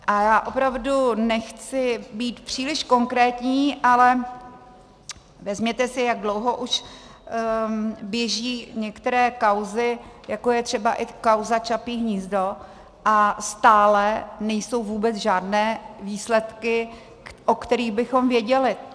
A já opravdu nechci být příliš konkrétní, ale vezměte si, jak dlouho už běží některé kauzy, jako je třeba i kauza Čapí hnízdo, a stále nejsou vůbec žádné výsledky, o kterých bychom věděli.